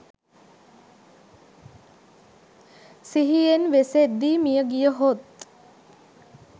සිහියෙන් වෙසෙද්දී මිය ගියහොත්